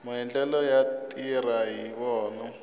maendlelo yo tirha hi wona